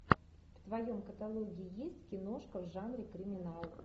в твоем каталоге есть киношка в жанре криминал